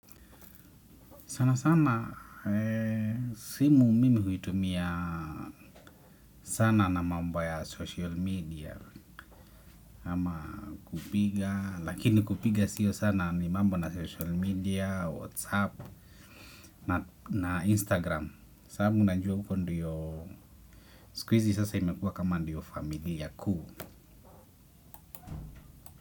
Sana sana simu mimi huitumia sana na mambo ya social media ama kupiga lakini kupiga siyo sana ni mambo na social media, whatsapp na instagram. Sababu najua huko ndiyo siku hizi sasa imekuwa kama ndiyo familia kuu.